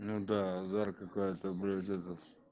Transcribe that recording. ну да зара какая-то блять этот